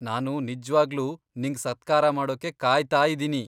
ನಾನು ನಿಜ್ವಾಗ್ಲೂ ನಿಂಗ್ ಸತ್ಕಾರ ಮಾಡೋಕೆ ಕಾಯ್ತಾ ಇದ್ದೀನಿ.